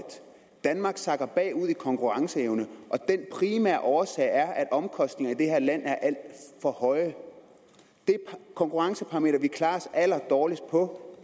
danmark sakker bagud i konkurrenceevne og den primære årsag er at omkostningerne i det her land er alt for høje det konkurrenceparameter vi klarer os allerdårligst på